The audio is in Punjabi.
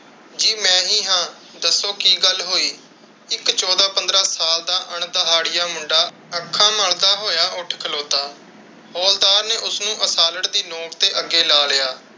ਜੀ ਮੈਂ ਹੀ ਹਾਂ, ਦੱਸੋ ਕਿ ਗੱਲ ਹੋਈ। ਇਕ ਚੌਦਾਂ ਪੰਦਰਾਂ ਸਾਲ ਦਾ ਅੰਦਾਹੜਿਆ ਮੁੰਡਾ ਅੱਖਾਂ ਮੱਲਦਾ ਹੋਇਆ ਉੱਠ ਖਲੋਤਾ। ਹੌਲਦਾਰ ਨੇ ਉਸ ਨੂੰ ਅਸਾਲਟ ਦੀ ਨੋਕ ਤੇ ਅਗੈ ਲਾ ਲਿਆ।